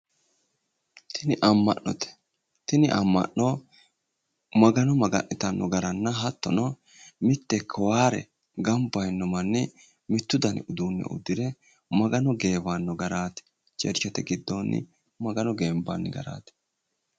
Tini amma'note tini amma'no magano maga'nitanno garanna hattono mitte kowaare ganba yiino manni mittu dani uduunne uddire magano geewanno garaati churchete giddoonni magano geenbanni garaati